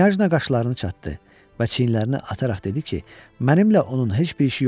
Knyajna qaşlarını çatdı və çiyinlərini atararaq dedi ki, mənimlə onun heç bir işi yoxdur.